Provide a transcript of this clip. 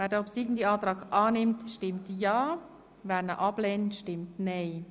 Wer den obsiegenden Antrag annimmt, stimmt ja, wer ihn ablehnt, stimmt nein.